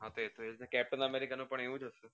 આપદે કે Captain America નું પણ આવું જ છે ને